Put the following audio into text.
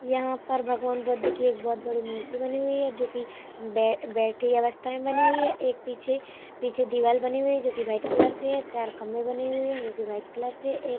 यहाँ पर भगवान बुद्ध की एक बहुत बड़ी मूर्ति बनी हुई है जो की बैठी बैठी अवस्था में बनी हुई है | एक पीछे पीछे दीवाल बनी हुई है जो की व्हाइट कलर से चार खम्भे बने हुए है जो की व्हाइट कलर से है एक --